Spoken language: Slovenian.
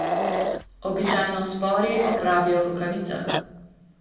Običajno s spori opravijo v rokavicah.